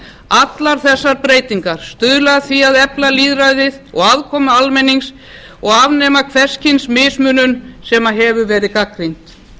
allar þessar breytingar stuðla að því að efla lýðræðið og aðkomu almennings og afnema hvers kyns mismunun sem hefur verið gagnrýnd